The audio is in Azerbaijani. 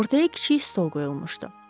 Ortaya kiçik stol qoyulmuşdu.